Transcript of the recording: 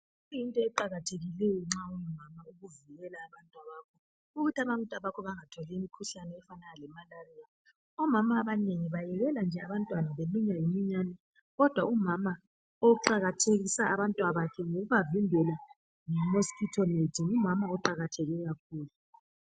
Kuyinto eqakathekileyo nxa ungumama ukuvikela abantwabakho .Ukuthi abantwabakho bengatholi imkhuhlane efana le malaria .Omama abanengi bayekela nje abantwana belunywa yimiyane .Kodwa umama oqakathekisa abantwabakhe ngokuba vimbela nge mosquito net ngumama oqakatheke kakhulu.